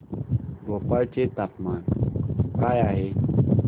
भोपाळ चे तापमान काय आहे